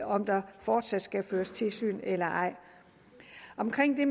om der fortsat skal føres tilsyn eller ej omkring det